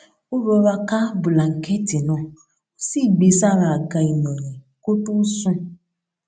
ó rọra ká bùlànkẹẹtì náà ó sì gbé e sára àga ìnàyìn kó tó sùn